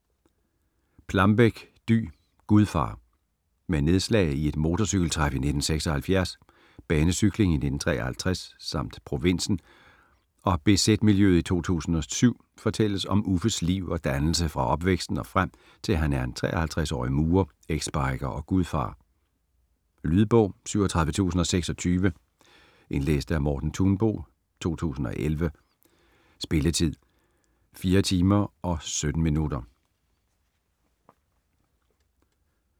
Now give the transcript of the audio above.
Plambeck, Dy: Gudfar Med nedslag i et motorcykeltræf i 1976, banecykling i 1953 samt provinsen og bz-miljøet i 2007 fortælles om Uffes liv og dannelse fra opvæksten og frem til han er 53-årig murer, exbiker og gudfar. Lydbog 37026 Indlæst af Morten Thunbo, 2011. Spilletid: 4 timer, 17 minutter.